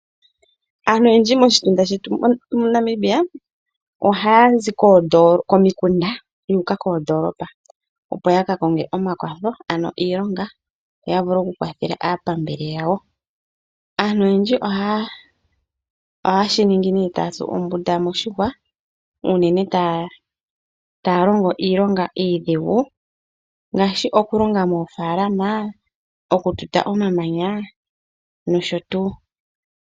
Aantu oyendji moshitunda shetu moNamibia ohaa zi komikunda yu uka koondoolopa, opo ya ka konge omakwatho ano iilonga yo ya vule okukwathela aapambele yawo. Aantu oyendji ohaye shi ningi nee taya tsu ombunda moshihwa unene taya longo iilonga iidhigu ngaashi okulonga moofaalama, okututa omamanya nosho tuu.